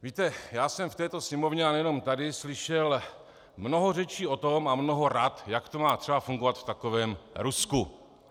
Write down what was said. Víte, já jsem v této Sněmovně a nejenom tady slyšel mnoho řečí o tom a mnoho rad, jak to má třeba fungovat v takovém Rusku.